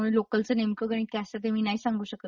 त्यामुळे लोकलच नेमक गणित काय असत ते नाही सांगू शकत मी तुला.